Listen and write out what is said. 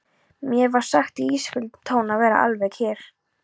Mér var sagt í ísköldum tón að vera alveg kyrr.